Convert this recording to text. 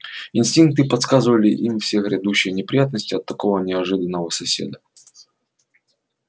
инстинкты подсказывали им все грядущие неприятности от такого неожиданного соседа